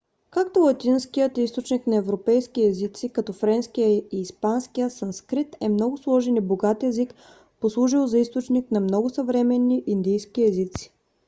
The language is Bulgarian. както латинският е източник на европейски езици като френския и испанския санскрит е много сложен и богат език послужил за източник на много съвременни индийски езици